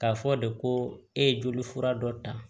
K'a fɔ de ko e ye joli fura dɔ ta